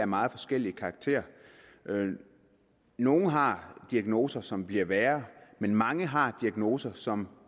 meget forskellig karakter nogle har diagnoser som bliver værre men mange har diagnoser som